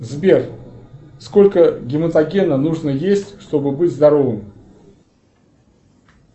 сбер сколько гематогена нужно есть чтобы быть здоровым